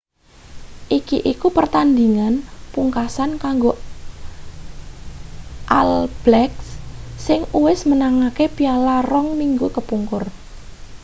iki iku pertandhingan pungkasan kanggo all blacks sing uwis menangake piala rong minggu kepungkur